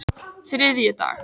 þriðjudag